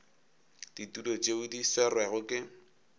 ditulo tšeo di swerwego ke